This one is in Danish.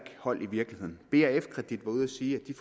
hold i virkeligheden brfkredit var ude at sige at de